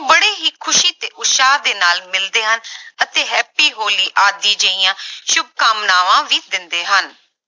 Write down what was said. ਬੜੇ ਹੀ ਖ਼ੁਸ਼ੀ ਤੇ ਉਤਸ਼ਾਹ ਦੇ ਨਾਲ ਮਿਲਦੇ ਹਨ ਅਤੇ happy ਹੋਲੀ ਆਦਿ ਜਿਹੀਆਂ ਸ਼ੁਭਕਾਮਨਾਵਾਂ ਵੀ ਦਿੰਦੇ ਹਨ।